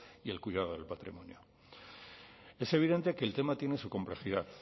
y el cuidado del patrimonio es evidente que el tema tiene su complejidad